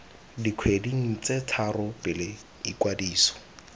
dikgweding tse tharo pele ikwadiso